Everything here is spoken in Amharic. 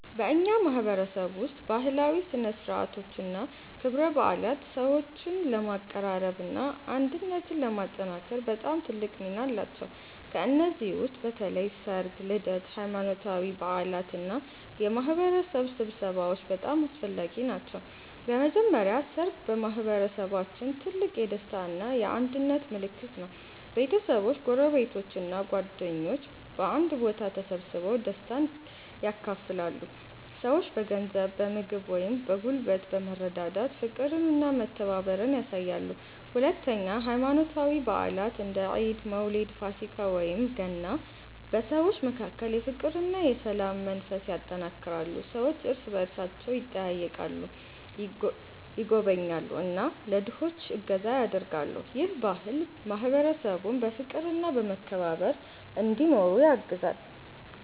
በእኛ ማህበረሰብ ውስጥ ባህላዊ ሥነ ሥርዓቶችና ክብረ በዓላት ሰዎችን ለማቀራረብና አንድነትን ለማጠናከር በጣም ትልቅ ሚና አላቸው። ከእነዚህ ውስጥ በተለይ ሠርግ፣ ልደት፣ ሃይማኖታዊ በዓላት እና የማህበረሰብ ስብሰባዎች በጣም አስፈላጊ ናቸው። በመጀመሪያ ሠርግ በማህበረሰባችን ትልቅ የደስታ እና የአንድነት ምልክት ነው። ቤተሰቦች፣ ጎረቤቶች እና ጓደኞች በአንድ ቦታ ተሰብስበው ደስታን ያካፍላሉ። ሰዎች በገንዘብ፣ በምግብ ወይም በጉልበት በመረዳዳት ፍቅርና መተባበርን ያሳያሉ። ሁለተኛ ሃይማኖታዊ በዓላት እንደ ኢድ፣ መውሊድ፣ ፋሲካ ወይም ገና በሰዎች መካከል የፍቅርና የሰላም መንፈስ ያጠናክራሉ። ሰዎች እርስ በእርሳቸው ይጠያየቃሉ፣ ይጎበኛሉ እና ለድሆች እገዛ ያደርጋሉ። ይህ ባህል ማህበረሰቡን በፍቅርና በመከባበር እንዲኖር ያግዛል።